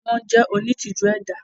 Wọ́n jẹ́ onítìjú ẹ̀dá.